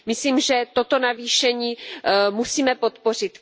Myslím, že toto navýšení musíme podpořit.